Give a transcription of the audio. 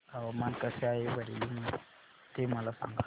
हवामान कसे आहे बरेली मध्ये मला सांगा